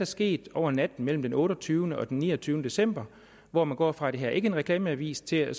sket over natten mellem den otteogtyvende og den niogtyvende december hvor man går fra at det her ikke er en reklameavis til at